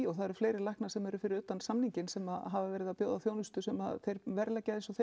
það eru fleiri læknar sem eru fyrir utan samninginn sem hafa verið að bjóða þjónustu sem þeir verðleggja eins og þeim